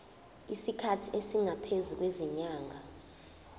isikhathi esingaphezulu kwezinyanga